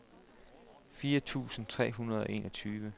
fire tusind tre hundrede og enogtyve